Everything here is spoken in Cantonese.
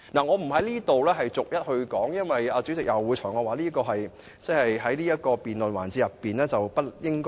我不在此逐一說明，因為主席會裁決我不應在這個辯論環節內提出。